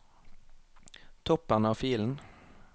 Toppen av filen